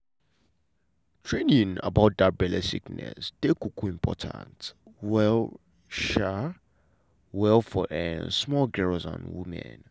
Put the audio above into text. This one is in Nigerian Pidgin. training about that belle sickness dey um important well um well for um small girls and women.